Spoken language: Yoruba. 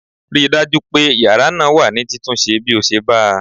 Ri dájú pé yàrá náà wà ní títúnṣẹ bí o ṣe bá a!